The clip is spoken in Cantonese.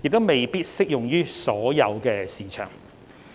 亦未必適用於所有市場。